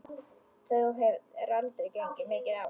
Það hefur gengið mikið á!